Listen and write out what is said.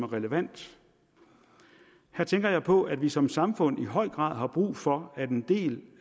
relevant her tænker jeg på at vi som samfund i høj grad har brug for at en del